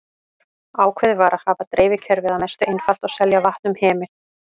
Ákveðið var að hafa dreifikerfið að mestu einfalt og selja vatn um hemil.